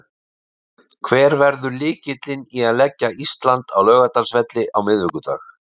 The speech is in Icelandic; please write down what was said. Hver verður lykillinn í að leggja Ísland á Laugardalsvelli á miðvikudag?